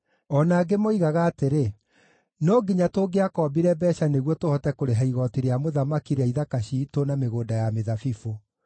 O na angĩ moigaga atĩrĩ, “No nginya tũngĩakombire mbeeca nĩguo tũhote kũrĩha igooti rĩa mũthamaki rĩa ithaka ciitũ na mĩgũnda ya mĩthabibũ.